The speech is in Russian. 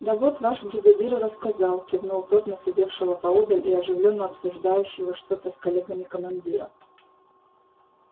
да вот ваш бригадир и рассказал кивнул тот на сидевшего поодаль и оживлённо обсуждающего что-то с коллегами командира